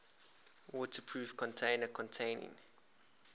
waterproof container containing